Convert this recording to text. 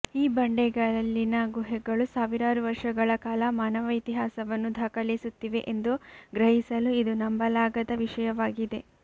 ಈ ಬಂಡೆಗಲ್ಲಿನ ಗುಹೆಗಳು ಸಾವಿರಾರು ವರ್ಷಗಳ ಕಾಲ ಮಾನವ ಇತಿಹಾಸವನ್ನು ದಾಖಲಿಸುತ್ತಿವೆ ಎಂದು ಗ್ರಹಿಸಲು ಇದು ನಂಬಲಾಗದ ವಿಷಯವಾಗಿದೆ